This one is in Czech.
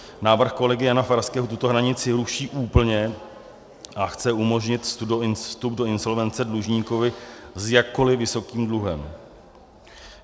Návrh kolegy Jana Farského tuto hranici ruší úplně a chce umožnit vstup do insolvence dlužníkovi s jakkoliv vysokým dluhem.